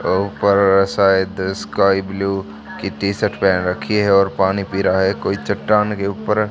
अ ऊपर शायद sky blue की टी शर्ट पहन रखी है और पानी पी रहा है कोई चट्टान के ऊपर --